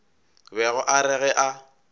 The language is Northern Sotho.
bego a re ge a